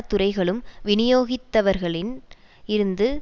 துறைகளும் விநியோகித்தவர்களின் இருந்து